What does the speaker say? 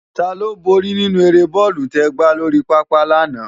Táló bóri ninú ëré bòlú tè gbá lóri pápá làná?